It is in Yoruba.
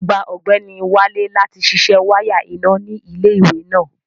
Agbá Ọgbẹnì Wálé láti sísẹ wàya iná ni ilẹ̀-iwe náà.